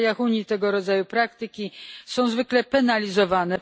W krajach Unii tego rodzaju praktyki są zwykle penalizowane.